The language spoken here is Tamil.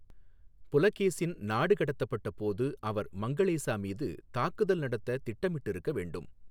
புலகேசின் நாடு கடத்தப்பட்டபோது அவர் மங்களேசா மீது தாக்குதல் நடத்த திட்டமிட்டிருக்க வேண்டும்.